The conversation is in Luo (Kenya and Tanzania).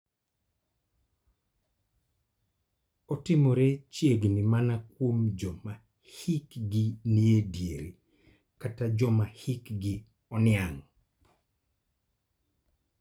Otimore chiegni mana kuom joma hikgi ni e diere kata joma hikgi oniang'.